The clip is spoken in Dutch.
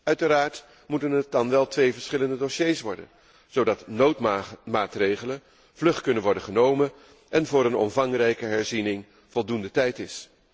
Uiteraard moeten het dan wel twee verschillende dossiers worden, zodat noodmaatregelen vlug kunnen worden genomen en voor een omvangrijke herziening voldoende tijd is.